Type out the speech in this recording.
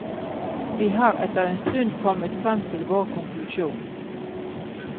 Vi har etter en stund kommet frem til vår konklusjon.